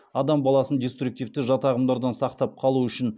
адам баласын диструктивті жат ағымдардан сақтап қалу үшін